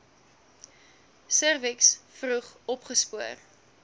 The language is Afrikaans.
serviks vroeg opgespoor